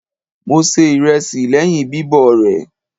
Mo se ìrẹsì lẹ́yìn bíbọ̀ rẹ̀.